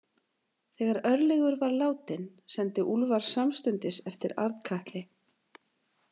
Þegar Örlygur var látinn sendi Úlfar samstundis eftir Arnkatli.